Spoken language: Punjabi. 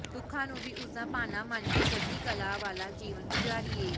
ਦੁੱਖਾਂ ਨੂੰ ਵੀ ਉਸ ਦਾ ਭਾਣਾ ਮੰਨ ਕੇ ਚੜ੍ਹਦੀ ਕਲਾ ਵਾਲਾ ਜੀਵਨ ਗੁਜ਼ਾਰੀਏ